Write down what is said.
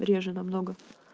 реже намного